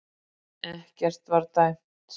Ekkert var dæmt